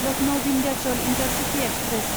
Lucknow Vindhyachal intercity express